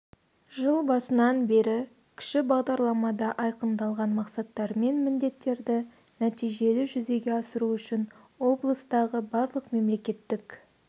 жыл басынан бері кіші бағдарламада айқындалған мақсаттар мен міндеттерді нәтижелі жүзеге асыру үшін облыстағы барлық мемлекеттік